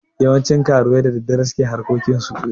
Yawancin karuwai da daddare su ke harkokinsu.